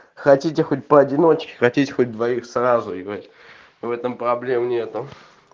хотите хоть поодиночке хотите хоть двоих сразу и блять в этом проблем нету